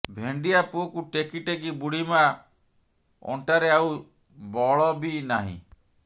ଭେଣ୍ଡିଆ ପୁଅକୁ ଟେକି ଟେକି ବୁଢୀ ମାଆ ଅଂଟାରେ ଆଉ ବଳବି ନାହିଁ